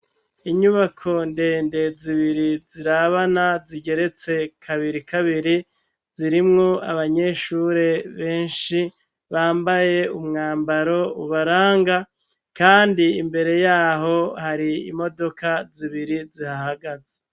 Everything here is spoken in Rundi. Inyubako ndende zibiri zirabana zigeretse kabiri kabiri zirimwo abanyeshure benshi bambaye umwambaro ubaranga, kandi imbere yaho hari imodoka zibiri zihaagaze.